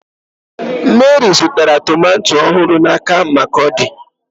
Meri zụtara tomato ọhụrụ n'aka Markurdi.